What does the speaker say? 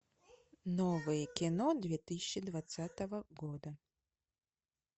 новое кино две тысячи двадцатого года